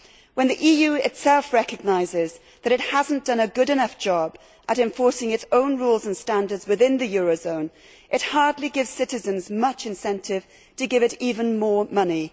When the EU itself recognises that it has not done a good enough job at enforcing its own rules and standards within the eurozone, it hardly gives citizens much incentive to give it even more money.